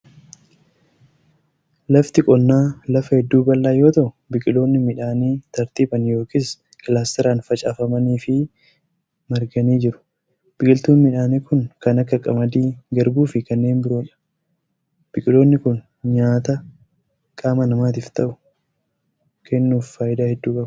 lafti qonnaa lafa hedduu bal'aa yoo ta'u, biqiloonni midhaanii tartiibaan yookin kilaastaraan facaafamanii fi marganii jiru. Biqiltuun midhaanii kun kan akka:qamadii, garbuu fi kanneen biroo dha. Biqiloonni kun nyaata qaama namaatif ta'u kennuuf faayidaa hedduu qabu.